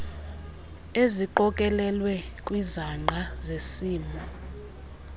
eziqokelelwe kwizangqa zesimo